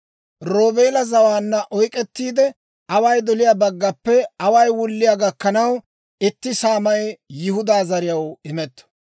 Roobeela zawaanna oyk'k'ettiide, away doliyaa baggappe away wulliyaa gakkanaw itti saamay Yihudaa zariyaw imetto.